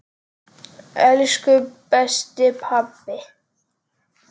Elsku besti pabbi!